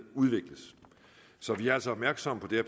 udvikles så vi er altså opmærksomme på det